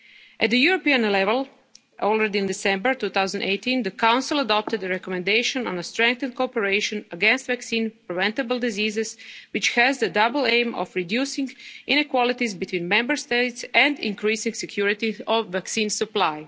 demand is global. At the European level, already in December 2018 the Council adopted a recommendation on strengthened cooperation against vaccine-preventable diseases, which has the double aim of reducing inequalities between Member States and increasing security